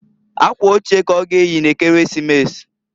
Akwa oche ka ọ ga eyi n'Ekeresimesi.